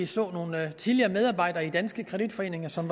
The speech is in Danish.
så nogle tidligere medarbejdere i danske kreditforeninger som